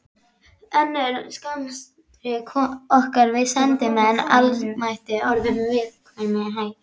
Önnur samskipti okkar við sendimenn almættisins voru með viðlíka hætti.